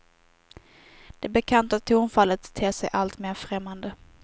Det bekanta tonfallet ter sig alltmer främmande.